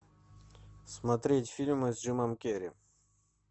смотреть фильмы с джимом керри